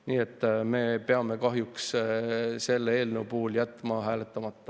Nii et me peame kahjuks selle eelnõu puhul jätma hääletamata.